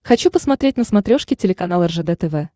хочу посмотреть на смотрешке телеканал ржд тв